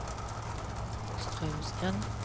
Straumsgrend